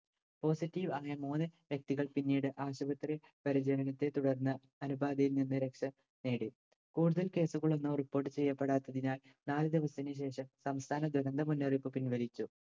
positive അങ്ങനെ മൂന്ന് വ്യക്തികൾ പിന്നീട് ആശുപത്രി പരിചരണത്തെ തുടർന്ന് അണുബാധയിൽ നിന്ന് രക്ഷ നേടി. കൂടുതൽ case കളൊന്നും report ചെയ്യപ്പെടാത്തതിനാൽ നാല് ദിവസത്തിന് ശേഷം സംസ്ഥാന ദുരന്ത മുന്നറിയിപ്പ് പിൻവലിച്ചു.